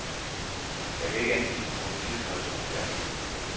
Jeg kan ikke anvise nogen tidshorisont her og nu.